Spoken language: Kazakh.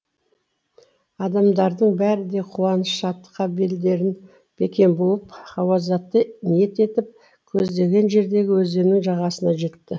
адамдардың бәрі де қуаныш шаттыққа белдерін бекем буып ғазауатты ниет етіп көздеген жердегі өзеннің жағасына жетті